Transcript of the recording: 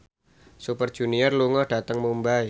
Super Junior lunga dhateng Mumbai